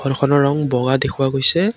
ঘৰখনৰ ৰং বগা দেখুওৱা গৈছে।